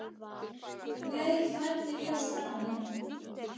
Um leið flæddi ljós framan í hann.